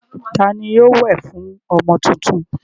Ta ni yóò wẹ̀ fún ọmọ tuntun?